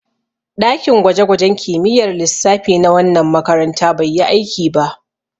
Ɗakin gwaje-gwajen kimiyyar lissafi na wannan makaranta bai yi aiki ba.